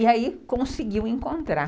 E aí conseguiu encontrar.